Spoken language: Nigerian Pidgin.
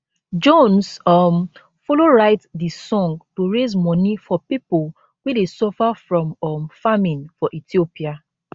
jones um followwrite di song to raise money for pipo wey dey suffer from um famine for ethiopia